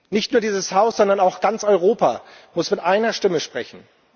Nicht nur dieses Haus, sondern auch ganz Europa muss mit einer Stimme sprechen.